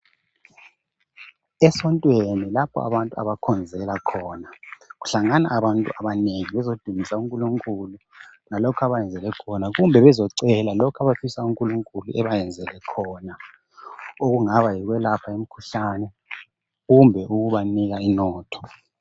Esontweni lapha abantu abakhonzela khona kuhlangana abantu abanengi bezodumisa unkulunkulu ngalokhu abayenzele khona kumbe bezocela lokhu abafisa unkulunkulu abayenzeke khona okungaba yokwelapha imikhuhlane kumbe ukubanika inotho.